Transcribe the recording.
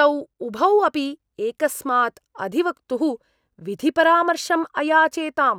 तौ उभौ अपि एकस्मात् अधिवक्तुः विधिपरामर्शम् अयाचेताम्।